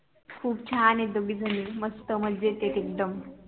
खूप छान आहे दोगेझनी मस्त मजेत एकदम